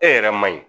E yɛrɛ ma ɲi